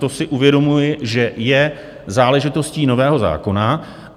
To si uvědomuji, že je záležitostí nového zákona.